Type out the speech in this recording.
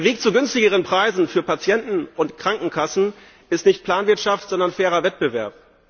Der Weg zu günstigeren Preisen für Patienten und Krankenkassen ist nicht Planwirtschaft, sondern fairer Wettbewerb.